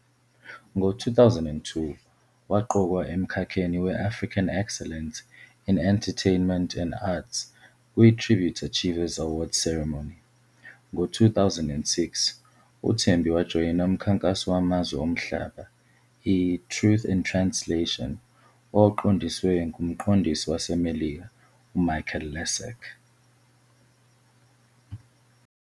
Ngo-2002 waqokwa emkhakheni we-African Excellence in Entertainment and Arts kwiTribute Achievers Awards Ceremony. Ngo-2006, uThembi wajoyina umkhankaso wamazwe omhlaba i- "Truth In Translation" owawuqondiswe ngumqondisi waseMelika uMichael Lessac.